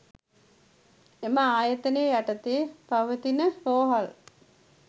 එම ආයතනය යටතේ පවතින රෝහල්